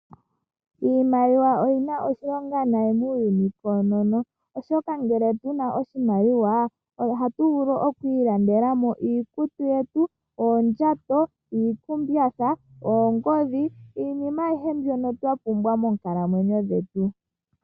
Iimaliwa oyi na oshilonga nayi muuyuni koonono, oshoka ngele pu na oshimaliwa, oha tu vulu oku ilandela mo iikutu yetu, oondjato, iikumbyatha, oongodhi niinima ayihe mbyono twa pumbwa moonkalamwenyo dhetu.